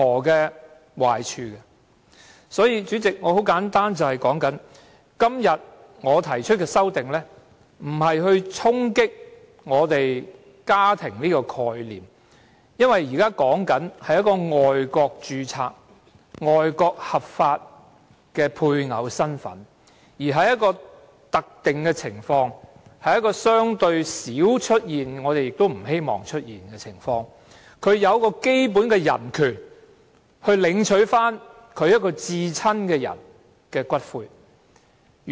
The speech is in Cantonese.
因此，主席，我今天提出的修正案，並非要衝擊我們對"家庭"的概念，因為修正案說的，是一個在外國註冊且具合法配偶身份的人，在一個特定的情況，是一個相對少出現——我們亦不希望出現——的情況下，他享有基本人權，領取他至親的人的骨灰。